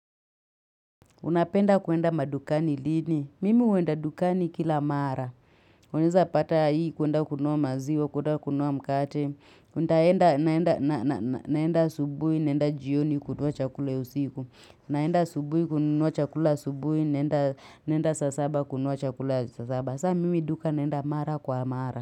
Unapenda kuenda madukani lini. Mimi uenda dukani kila mara. Unaeza pata hii kuenda kununua maziwa, kuenda kununua mkate. Naenda asubuhi, naenda jioni kununua chakula usiku. Naenda asubuhi kununua chakula asubuhi, naenda saa saba kununua chakula ya saa saba. Saa mimi duka naenda mara kwa mara.